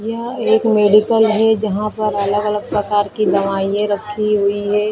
यह एक मेडिकल हैं जहाँ पर अलग प्रकार की दवाई रखी हुई हैं ।